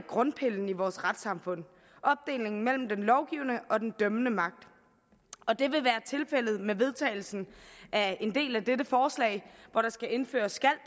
grundpillen i vores retssamfund opdelingen mellem den lovgivende og den dømmende magt og det vil være tilfældet med vedtagelsen af en del af dette forslag hvor der skal indføres